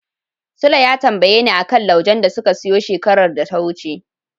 Sule ya tambayeni a kan laujen da suka siyo shekarar da ta wuce.